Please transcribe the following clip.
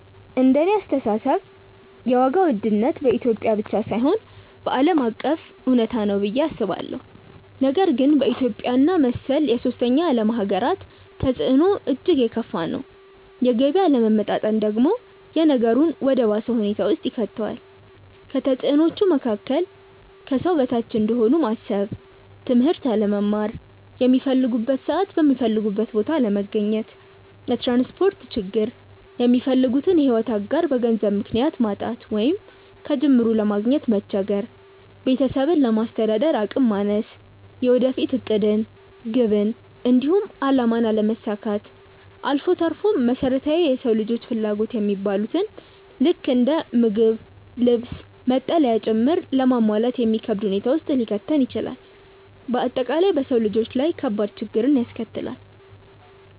እንደኔ አስተሳሰብ የዋጋ ውድነት በኢትዮጵያ ብቻ ሳይሆን ዓለም አቀፍ እውነታ ነው ብዬ አስባለሁ፤ ነገር ግን በኢትዮጵያ እና መሰል የሶስተኛ ዓለም ሃገራት ተፅዕኖው እጅግ የከፋ ነው። የገቢ አለመመጣጠን ደግሞ ነገሩን ወደ ባሰ ሁኔታ ውስጥ ይከተዋል። ከተፅዕኖዎቹ መካከል፦ ከሰው በታች እንደሆኑ ማሰብ፣ ትምህርት አለመማር፣ ሚፈልጉበት ሰዓት የሚፈልጉበት ቦታ አለመገኘት፣ የትራንስፖርት ችግር፣ የሚፈልጉትን የሕይወት አጋር በገንዘብ ምክንያት ማጣት ወይንም ከጅምሩ ለማግኘት መቸገር፣ ቤተሰብን ለማስተዳደር አቅም ማነስ፣ የወደፊት ዕቅድን፣ ግብን፣ እንዲሁም አላማን አለማሳካት አልፎ ተርፎም መሰረታዊ የሰው ልጆች ፍላጎት የሚባሉትን ልክ እንደ ምግብ፣ ልብስ፣ መጠለያ ጭምር ለማሟላት የሚከብድ ሁኔታ ውስጥ ሊከተን ይችላል። በአጠቃላይ በሰው ልጆች ላይ ከባድ ችግርን ያስከትላል።